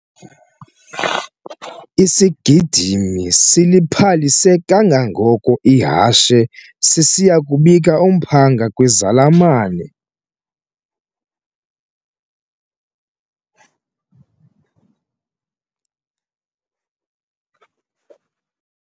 Isigidimi siliphalise kangangoko ihashe sisiya kubika umphanga kwizalamane.